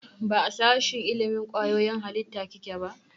Ba a sashen ilimin kwayoyin halitta kike ba?